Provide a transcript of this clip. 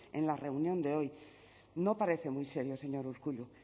en la reunión de hoy no parece muy serio señor urkullu